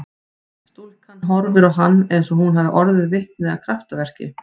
Stúlkan horfir á hann eins og hún hafi orðið vitni að kraftaverki.